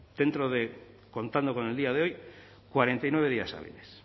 dentro de contando con el día de hoy cuarenta y nueve días hábiles